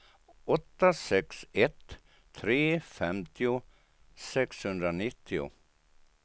åtta sex ett tre femtio sexhundranittio